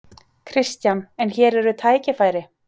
Kristján: En hér eru tækifæri?